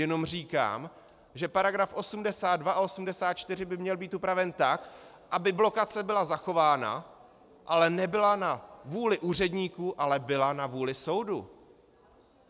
Jenom říkám, že paragrafy 82 a 84 by měly být upraveny tak, aby blokace byla zachována, ale nebyla na vůli úředníků, ale byla na vůli soudu.